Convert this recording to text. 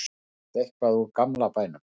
fannst eitthvað úr gamla bænum